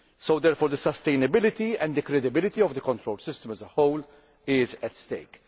Therefore, the sustainability and credibility of the control system as a whole is at